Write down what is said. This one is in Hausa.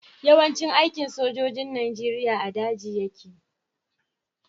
Yawan cin aikin sojojin nigeria a daji yake